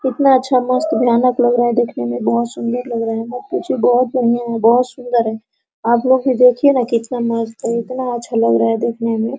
कितना अच्छा मस्त भयानक लग रहा है देखने में बहुत सुन्दर लग रहा है मत पूछिए बहुत बढ़िया है बहुत सुन्दर है आप लोग भी देखिये न कितना मस्त है इतना अच्छा लग रहा है देखने में।